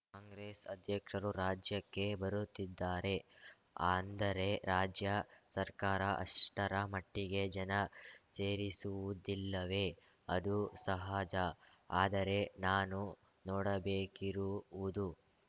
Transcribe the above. ಕಾಂಗ್ರೆಸ್‌ ಅಧ್ಯಕ್ಷರು ರಾಜ್ಯಕ್ಕೆ ಬರುತ್ತಿದ್ದಾರೆ ಅಂದರೆ ರಾಜ್ಯ ಸರ್ಕಾರ ಅಷ್ಟರ ಮಟ್ಟಿಗೆ ಜನ ಸೇರಿಸುವುದಿಲ್ಲವೇ ಅದು ಸಹಜ ಆದರೆ ನಾನು ನೋಡಬೇಕಿರುವುದು